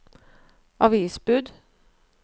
avisbud